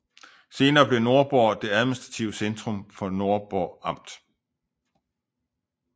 Senere blev Nordborg det administrative centrum for Nordborg Amt